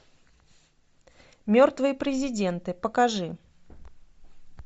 мертвые президенты покажи